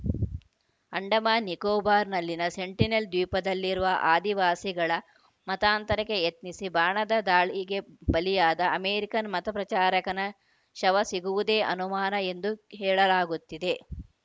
ಅಂಡಮಾನ್‌ ನಿಕೋಬಾರ್‌ನಲ್ಲಿನ ಸೆಂಟಿನೆಲ್‌ ದ್ವೀಪದಲ್ಲಿರುವ ಆದಿವಾಸಿಗಳ ಮತಾಂತರಕ್ಕೆ ಯತ್ನಿಸಿ ಬಾಣದ ದಾಳಿಗೆ ಬಲಿಯಾದ ಅಮೆರಿಕನ್‌ ಮತಪ್ರಚಾರಕನ ಶವ ಸಿಗುವುದೇ ಅನುಮಾನ ಎಂದು ಹೇಳಲಾಗುತ್ತಿದೆ